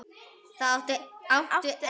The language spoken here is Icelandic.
Það áttu enn.